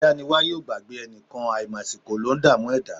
Adániwáyé o gbàgbé ẹnìkan, àìmàsìkò ló ń dààmú ẹ̀dá.